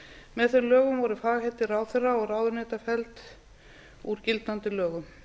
með þeim lögum voru fagheiti ráðherra og ráðuneyta felld úr gildandi lögum